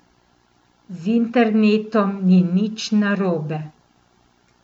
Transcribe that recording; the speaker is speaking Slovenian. Z internetom ni nič narobe.